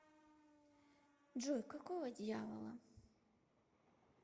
джой какого дьявола